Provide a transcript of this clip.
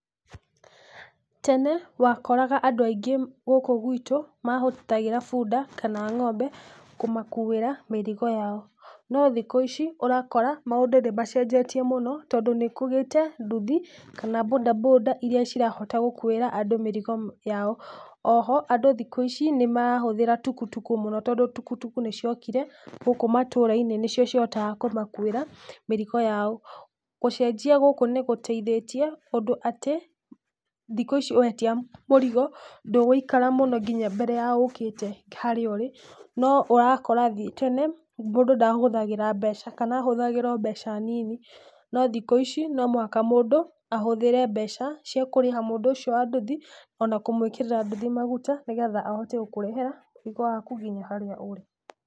Tene wakoraga andũ aingĩ gũkũ gwitũ, mahũthagĩra bunda kana ng'ombe kũmakuĩra mĩrigo yao, no thikũ ici ũrakora maũndũ nĩmacenjetie mũno tondũ nĩkũgĩte nduthi kana bodaboda iria cirahota gũkuĩra andũ mĩrigo yao, oho andũ thukũ ici nĩmarahũthĩra tukutuku mũno tondũ tukutuku nĩciokire gũkũ matũra-inĩ nĩcio cihotaga kũmakuĩra mĩrigo yao, gũcenjia gũkũ nĩgũteithĩtie ũndũ atĩ thikũ ici wetia mũrigo, ndũgũikara mũno mbere ya ũkĩte harĩa ũrĩ, no ũrakora tene mũndũ ndahũthagĩra mbeca kana ahũthagĩra o mbeca nini, no thikũ ici nomũhaka mũndũ ahũthĩre mbeca cia kũrĩha mũndũ ũcio wa nduthi ona kũmwĩkĩrira nduthi maguta, nĩgetha ahote gũkũrehera mũrigo waku nginya harĩa ũrĩ.